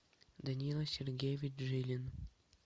даниил сергеевич жилин